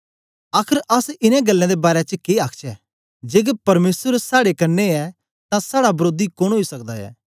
आखर अस इनें गल्लें दे बारै च के आखचै जेकर परमेसर साड़े क्न्ने ऐ तां साड़ा वरोधी कोन ओई सकदा ऐ